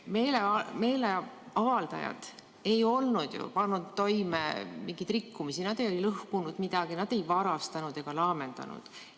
Meelemeeleavaldajad ei olnud ju pannud toime mingeid rikkumisi, nad ei lõhkunud midagi, nad ei varastanud ega laamendanud.